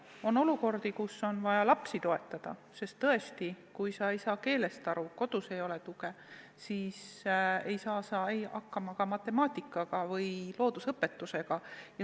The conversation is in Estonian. On olukordi, kus on vaja lapsi toetada, sest tõesti, kui sa ei saa keelest aru, kodus ei ole tuge, siis ei saa sa hakkama ka matemaatika või loodusõpetusega.